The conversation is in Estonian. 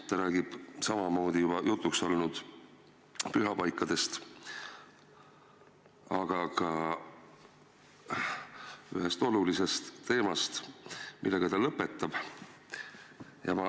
Temagi räägib siin juba jutuks olnud pühapaikadest, aga lõpetab ühe olulise teemaga.